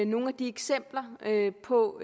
nogle af de eksempler på